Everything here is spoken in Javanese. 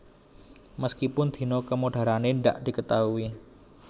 Meskipun dino kemodarane ndak diketaui